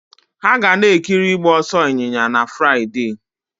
Hà ga na-ekiri ịgba ọsọ ịnyịnya na Fraịde?